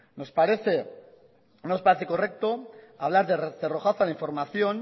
no nos parece correcto hablar de cerrojazo a la información